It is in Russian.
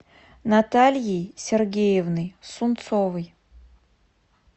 натальей сергеевной сунцовой